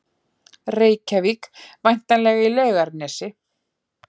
Reykjavík, væntanlega í Laugarnesi.